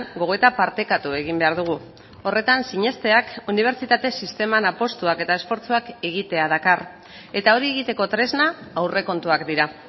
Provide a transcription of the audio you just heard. gogoeta partekatu egin behar dugu horretan sinesteak unibertsitate sisteman apustuak eta esfortzuak egitea dakar eta hori egiteko tresna aurrekontuak dira